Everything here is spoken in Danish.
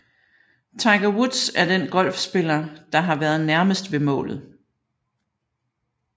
Tiger Woods er den golfspiller der har været nærmest ved målet